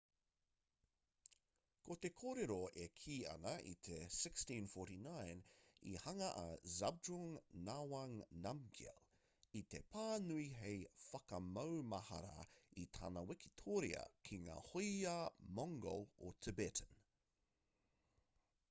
ko te kōrero e kī ana i te 1649 i hanga a zhabdrung ngawang namgyel i te pā nui hei whakamaumahara i tana wikitoria ki ngā hoiā mongol o tibetan